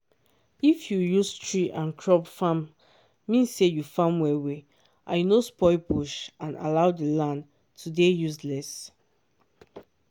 if you use tree and crop farme mean say u farm well well and u no spoil bush or allow the land to dey useless